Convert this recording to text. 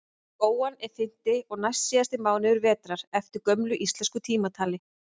góan er fimmti og næstsíðasti mánuður vetrar eftir gömlu íslensku tímatali